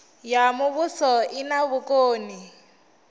ya muvhuso i na vhukoni